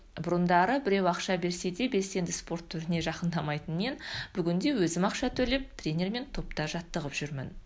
бұрындары біреу ақша берсе де белсенді спорт түріне жақындамайтын мен бүгін де өзім ақша төлеп тренермен топта жаттығып жүрмін